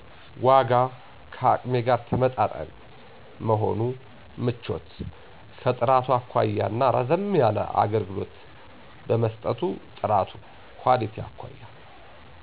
ዋጋ። ከአቅሜ ጋር ተመጣጣኝ ቀመሆኑ ምቾት። ከጥራቱ አኳያ እና ረዘም ያለ አገልግሎት በመሰጠቱ ጥራት። ኳሊቲ አኳያ